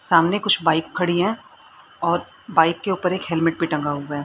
सामने कुछ बाइक खड़ी हैं और बाइक के ऊपर एक हेलमेट भी टंगा हुआ है।